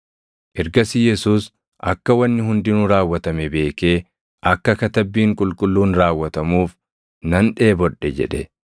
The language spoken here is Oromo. Ergasii Yesuus akka wanni hundinuu raawwatame beekee akka Katabbiin Qulqulluun raawwatamuuf, “Nan dheebodhe” jedhe.